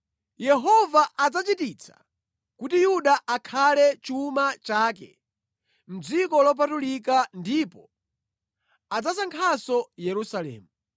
Yehova adzachititsa kuti Yuda akhale chuma chake mʼdziko lopatulika ndipo adzasankhanso Yerusalemu.